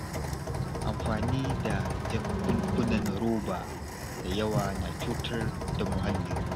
Amfani da jakunkunan roba da yawa na cutar da muhalli.